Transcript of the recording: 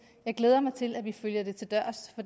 jeg glæder mig til at vi følger det til dørs